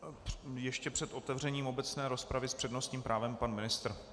Ještě před otevřením obecné rozpravy s přednostním právem pan ministr.